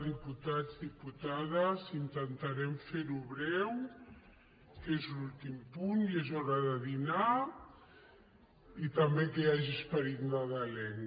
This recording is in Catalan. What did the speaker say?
diputats diputades intentarem fer ho breu que és l’últim punt i és hora de dinar i també que hi hagi esperit nadalenc